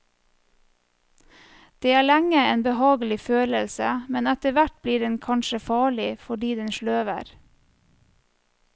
Det er lenge en behagelig følelse, men etterhvert blir den kanskje farlig, fordi den sløver.